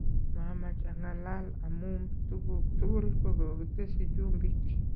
Mamach ang'alal amum tukuk tugul kokiketesyi chumbik".